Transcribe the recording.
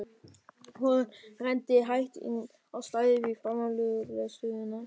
Hún renndi hægt inn á stæðið fyrir framan lögreglu stöðina.